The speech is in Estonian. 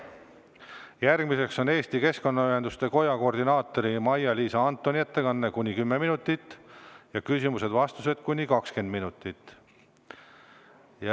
Järgmisena on Eesti Keskkonnaühenduste Koja koordinaatori Maia-Liisa Antoni 10‑minutiline ettekanne ja küsimusteks-vastusteks 20 minutit.